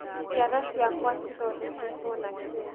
njara ciakwa cithondeketwo na kĩĩ